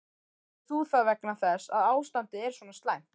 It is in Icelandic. Gerðir þú það vegna þess að ástandið er svona slæmt?